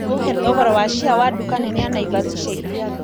uhe thogora wa chia wa duka nene ya naivas ĩca ĩkũhĩ